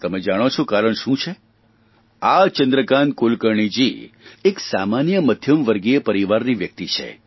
તમે જાણો છો કારણ શું છે આ ચંદ્રકાન્ત કુલકર્ણીજી એક સામાન્ય મધ્યમવર્ગીય પરિવારની વ્યક્તિ છે